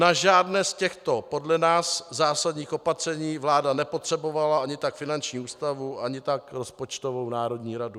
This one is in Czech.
Na žádné z těchto podle nás zásadních opatření vláda nepotřebovala ani tak finanční ústavu ani tak rozpočtovou národní radu.